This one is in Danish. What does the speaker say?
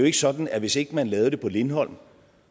ikke sådan at hvis ikke man lavede det på lindholm